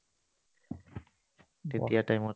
তেতিয়াৰ time ত